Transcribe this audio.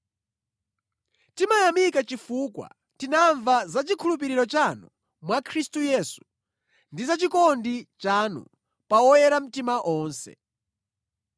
Timayamika chifukwa tinamva za chikhulupiriro chanu mwa Khristu Yesu ndi za chikondi chanu pa oyera mtima onse.